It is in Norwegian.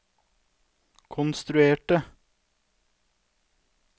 konstruerte